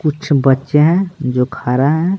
कुछ बच्चे हैं जो खा रहे हैं।